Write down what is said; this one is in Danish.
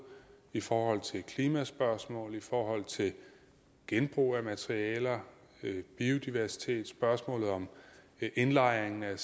i forhold til klimaspørgsmål i forhold til genbrug af materialer biodiversitet spørgsmålet om indlejring af